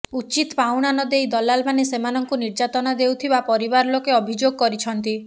ଉଚିତ୍ ପାଉଣା ନଦେଇ ଦଲାଲମାନେ ସେମାନଙ୍କୁ ନିର୍ଯାତନା ଦେଉଥିବା ପରିବାର ଲୋକେ ଅଭିଯୋଗ କରିଛନ୍ତି